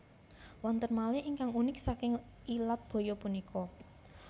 Wonten malih ingkang unik saking ilat baya punika